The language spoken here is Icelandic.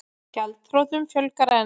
Gjaldþrotum fjölgar enn